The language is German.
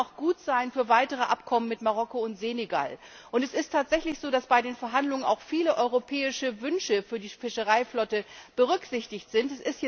Es kann auch gut sein für weitere Abkommen mit Marokko und Senegal. Und es ist tatsächlich so, dass bei den Verhandlungen auch viele europäische Wünsche für die Fischereiflotte berücksichtigt sind.